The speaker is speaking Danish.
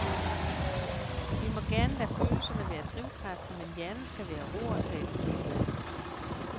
Vi må gerne lade følelserne være drivkraften, men hjernen skal være roret, sagde den kloge mand.